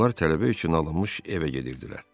Onlar tələbə üçün alınmış evə gedirdilər.